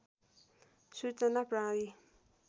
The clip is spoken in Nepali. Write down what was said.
सूचना प्रणाली